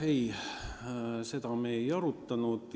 Ei, seda me ei arutanud.